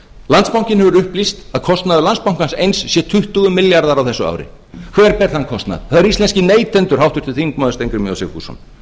landsbankinn hefur upplýst að kostnaður landsbankans eins sé tuttugu milljarðar á þessu ári hver ber þann kostnað það eru íslenskir neytendur háttvirtur þingmaður steingrímur j sigfússon og hver er